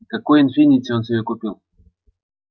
какой инфинити он себе купил